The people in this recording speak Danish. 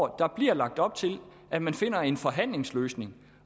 der bliver lagt op til at man finder en forhandlingsløsning